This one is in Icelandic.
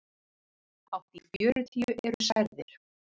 Hátt í fjörutíu eru særðir